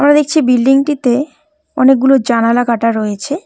ওখানে দেখছি বিল্ডিং -টিতে অনেকগুলো জানালা কাটা রয়েছে।